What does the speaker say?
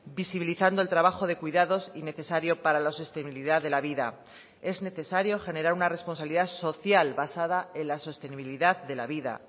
visibilizando el trabajo de cuidados y necesario para la sostenibilidad de la vida es necesario generar una responsabilidad social basada en la sostenibilidad de la vida